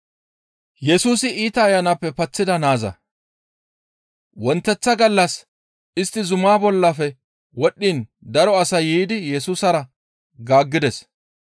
Wonteththa gallas istti zuma bollafe wodhdhiin daro asay yiidi Yesusara gaaggides.